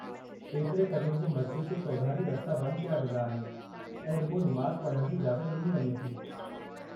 ऐतिरे क़दुरु जो मस्ज़िद जे चौधारी रस्ता बंदि कया वेंदा आहिनि ऐं रुॻो निमाज़ पढ़ण जी इजाज़त ॾिनी वञे थी।